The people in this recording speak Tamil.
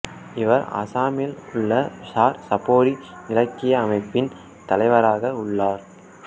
இவர் அசாமில் உள்ள சார் சாப்போரி இலக்கிய அமைப்பின் தலைவராக உள்ளார்